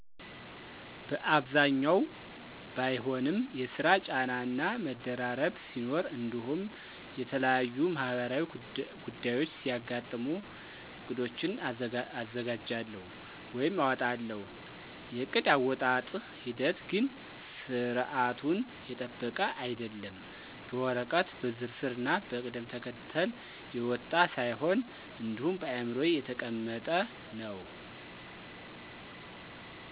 በአብዛኛው ባይሆንም የስራ ጫና እና መደራረብ ሲኖር እንዲሁም የተለያዩ ማህበራዊ ጉዳዮች ሲያጋጥሙ ዕቅዶችን አዘጋጃለሁ ወይም አወጣለሁ። የዕቅድ አወጣጠጥ ሂደት ግን ስርዓቱን የጠበቀ አይደለም፤ በወረቀት በዝርዝር ና በቅደም ተከተል የወጣ ሳይሆን እንዲሁ በአዕምሮዬ የተቀመጠ ነው።